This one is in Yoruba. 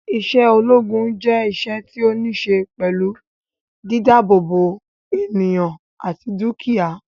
Isé ológun je iṣẹ́ tí o ni se pẹlú dídá àbò bo ènìyàn àti dukia